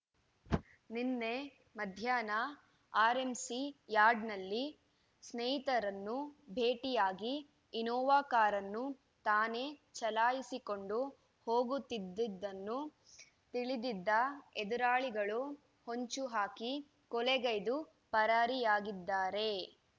ನಿನ್ನೆ ಮಧ್ಯಾಹ್ನ ಆರ್‌ಎಂಸಿ ಯಾರ್ಡ್‌ನಲ್ಲಿ ಸ್ನೇಹಿತರನ್ನು ಭೇಟಿಯಾಗಿ ಇನೋವಾ ಕಾರನ್ನು ತಾನೇ ಚಲಾಯಿಸಿಕೊಂಡು ಹೋಗುತ್ತಿದ್ದುದನ್ನು ತಿಳಿದಿದ್ದ ಎದುರಾಳಿಗಳು ಹೊಂಚು ಹಾಕಿ ಕೊಲೆಗೈದು ಪರಾರಿಯಾಗಿದ್ದಾರೆ